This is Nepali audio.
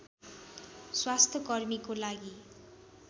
स्वास्थ्यकर्मीको लागि